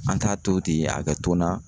An t'a to ten a kɛ to na